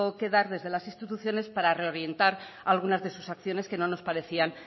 que dar desde las instituciones para reorientar algunas de sus acciones que no nos parecían